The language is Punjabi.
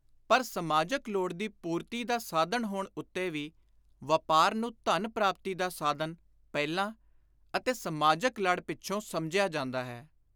ਪਰ ਸਮਾਜਕ ਲੋੜ ਦੀ ਪੁਰਤੀ ਦਾ ਸਾਧਨ ਹੋਣ ਉੱਤੇ ਵੀ ਵਾਪਾਰ ਨੂੰ ‘ਧਨ ਪ੍ਰਾਪਤੀ ਦਾ ਸਾਧਨ’ ਪਹਿਲਾਂ ਅਤੇ ‘ਸਮਾਜਕ ਲੜ’ ਪਿੱਛੋਂ ਸਮਝਿਆ ਜਾਂਦਾ ਹੈ।